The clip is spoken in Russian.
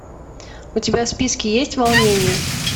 у тебя в списке есть волнение